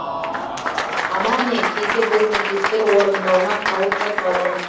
амал не кейде бұл міндеттер орындалмай қалып жатады